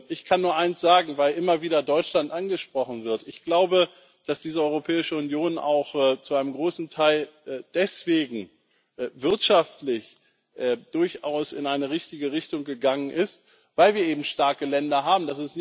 Ich kann nur eines sagen weil immer wieder Deutschland angesprochen wird Ich glaube, dass diese Europäische Union auch zu einem großen Teil deswegen wirtschaftlich durchaus in eine richtige Richtung gegangen ist, weil wir eben starke Länder haben.